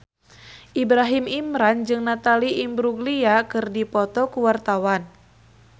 Ibrahim Imran jeung Natalie Imbruglia keur dipoto ku wartawan